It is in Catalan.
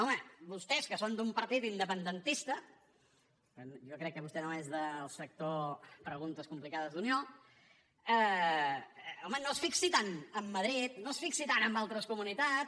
home vostès que són d’un partit independentista jo crec que vostè no és del sector preguntes complicades d’unió no es fixin tant en madrid no es fixin tant en altres comunitats